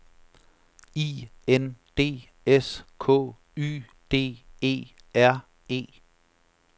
I N D S K Y D E R E